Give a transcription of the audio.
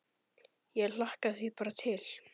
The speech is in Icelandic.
Ég hlakka því bara til.